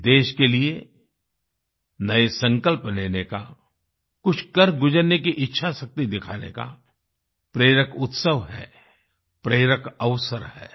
ये देश के लिए नए संकल्प लेने का कुछ कर गुजरने की इच्छाशक्ति दिखाने का प्रेरक उत्सव है प्रेरक अवसर है